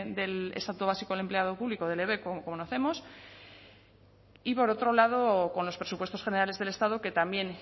del estatuto básico del empleado público del ebep como conocemos y por otro lado con los presupuestos generales del estado que también